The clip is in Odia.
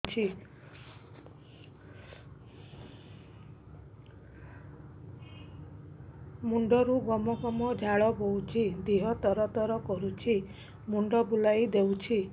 ମୁଣ୍ଡରୁ ଗମ ଗମ ଝାଳ ବହୁଛି ଦିହ ତର ତର କରୁଛି ମୁଣ୍ଡ ବୁଲାଇ ଦେଉଛି